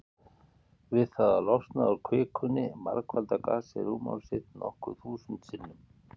Við það að losna úr kvikunni margfaldar gasið rúmmál sitt nokkur þúsund sinnum.